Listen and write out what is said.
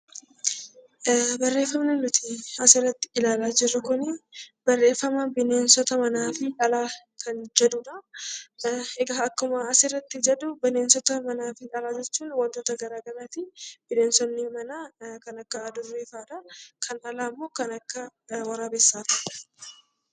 Barreeffamni nuti asirratti ilaalaa jirru kuni barreeffama bineensota manaa fi alaa kan jedhudha. Egaa akkuma asirratti jedhu bineensota manaa fi alaa jechuun wantoota garaa garaati. Bineensonni manaa kan akka hadurree fa'adha. Kan alaa immoo kan akka waraabessaa faati.